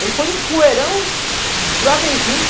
Ele foi um poeirão desbravejando.